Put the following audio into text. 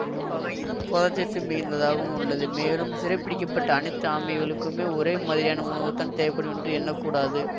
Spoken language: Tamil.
குறிப்பாக இது புரதச்சத்து மிகுந்ததாகவும் உள்ளது மேலும் சிறைப்பிடிக்கப்பட்ட அனைத்து ஆமைகளுக்குமே ஒரே மாதிரியான உணவுதான் தேவைப்படும் என்றும் எண்ண கூடாது